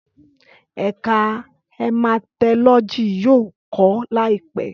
Ẹka Hematology yoo kọ laipẹ